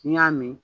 N'i y'a mɛn